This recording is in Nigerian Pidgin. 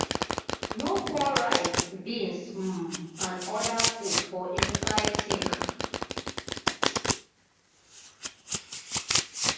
no pour rice beans um and oda food for inside sink